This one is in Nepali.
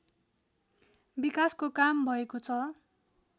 विकासको काम भएको छ